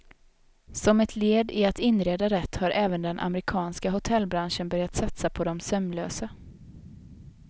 Som ett led i att inreda rätt har även den amerikanska hotellbranschen börjat satsa på de sömnlösa.